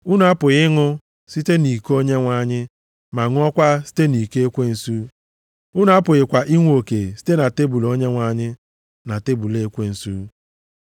Unu apụghị ịṅụ site nʼiko Onyenwe anyị ma ṅụọkwa site nʼiko ekwensu; unu apụghịkwa inwe oke site na tebul Onyenwe anyị na tebul ekwensu.